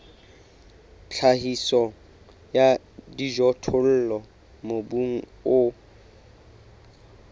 tlhahiso ya dijothollo mobung o